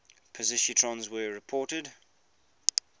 positrons were reported